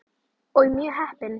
Og mjög heppin!